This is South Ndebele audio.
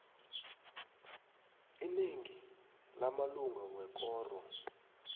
inengi lamalunga wekoro